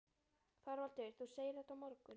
ÞORVALDUR: Þú segir þetta á morgun?